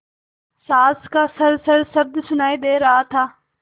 साँस का खरखर शब्द सुनाई दे रहा था